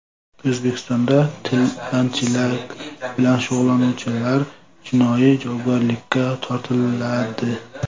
O‘zbekistonda tilanchilik bilan shug‘ullanuvchilar jinoiy javobgarlikka tortiladi.